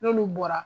N'olu bɔra